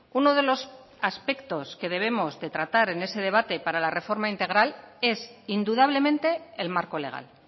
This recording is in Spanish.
uno de los aspectos que debemos de tratar en ese debate para la reforma integral es indudablemente el marco legal